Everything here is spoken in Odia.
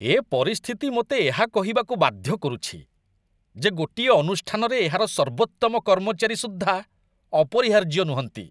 ଏ ପରିସ୍ଥିତି ମୋତେ ଏହା କହିବାକୁ ବାଧ୍ୟ କରୁଛି, ଯେ ଗୋଟିଏ ଅନୁଷ୍ଠାନରେ ଏହାର ସର୍ବୋତ୍ତମ କର୍ମଚାରୀ ସୁଦ୍ଧା ଅପରିହାର୍ଯ୍ୟ ନୁହଁନ୍ତି।